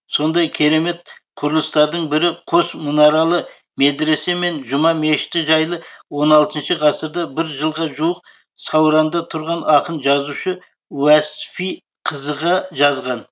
сондай керемет құрылыстардың бірі қос мұнаралы медресе мен жұма мешіті жайлы он алтыншы ғасырда бір жылға жуық сауранда тұрған ақын жазушы уәсфи қызыға жазған